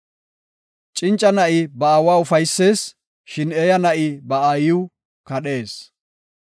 Cinca na7i ba aawa ufaysees; shin eeya na7i ba aayiw kadhees.